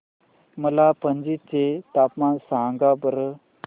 मला पणजी चे तापमान सांगा बरं